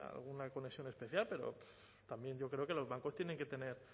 alguna conexión especial pero también yo creo que los bancos tienen que tener